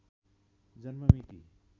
जन्म मिति